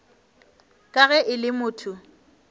ka ge e le motho